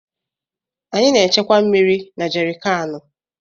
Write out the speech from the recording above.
Anyị na-echekwa mmiri na jerịkaanụ.